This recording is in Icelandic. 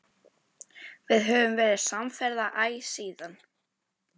Við höfum verið samferða æ síðan.